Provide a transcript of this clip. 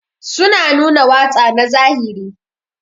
Su na nuna watsa na zahiri